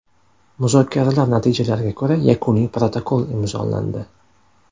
Muzokaralar natijalariga ko‘ra yakuniy protokol imzolandi.